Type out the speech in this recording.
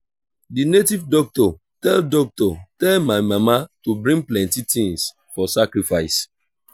the native doctor tell doctor tell my mama to bring plenty things for sacrifice